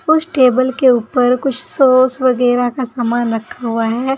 उस टेबल के ऊपर कुछ सॉस वगैरा का सामान रखा हुआ है।